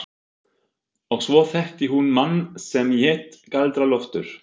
Og svo þekkti hún mann sem hét Galdra-Loftur.